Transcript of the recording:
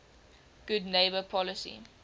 good neighbor policy